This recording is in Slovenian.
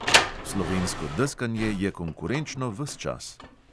Slovensko deskanje je konkurenčno ves čas.